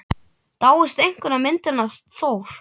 Dáist einkum að myndinni af Thor.